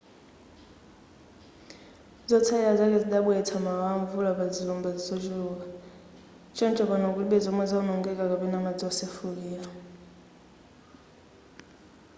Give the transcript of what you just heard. zotsalira zake zidabweretsa mawawa amvula pazilumba zochuluka choncho pano kulibe zomwe zawonongeka kapena madzi wosefukira